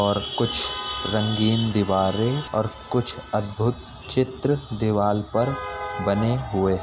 और कुछ रंगीन दीवारें और कुछ अद्भुत चित्र दीवाल पर बने हुए हैं।